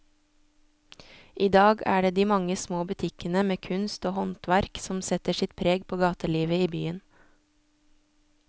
I dag er det de mange små butikkene med kunst og håndverk som setter sitt preg på gatelivet i byen.